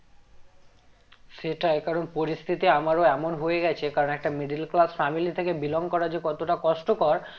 সেটাই কারণ পরিস্থিতি আমারও এমন হয়ে গেছে কারণ একটা middle class family থেকে belong করা যে কতটা কষ্টকর